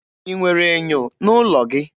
Ị nwere ènyò n'ụlọ gị?